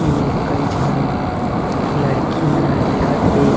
ए मेर कई झन लड़की मनह दिखत हे।